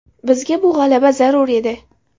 Bizga bu g‘alaba zarur edi”.